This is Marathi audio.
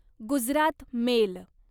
गुजरात मेल